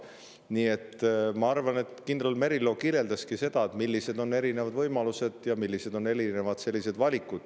Nii et ma arvan, et kindral Merilo kirjeldaski seda, millised on erinevad võimalused ja millised on erinevad valikud.